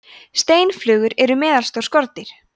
steinflugur eru meðalstór skordýr